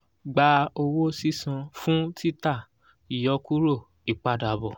gba owó sísan fún títà ìyọkúrò ìpadàbọ̀